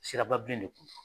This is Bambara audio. Siraba bilen